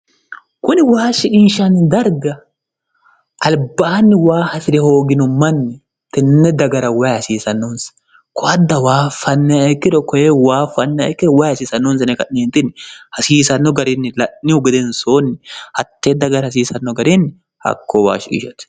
kuni waa shiqinshanni darga albaanni waa hasi're hoogino manni tenne dagara wayi hasiisannoonsa koadda waa fannekkiro koye waa fannekkiro way hasiisannoonsneka'niinni hasiisanno garinni la'nihu gedensoonni hattee dagara hasiisanno gariinni hakko waashiishate